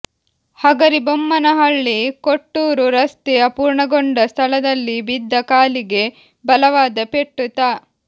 ಹಗರಿಬೊಮ್ಮನಹಳ್ಳಿ ಕೊಟ್ಟೂರು ರಸ್ತೆ ಅರ್ಪೂಣಗೊಂಡ ಸ್ಥಳದಲ್ಲಿ ಬಿದ್ದ ಕಾಲಿಗೆ ಬಲವಾದ ಪೆಟ್ಟು ತ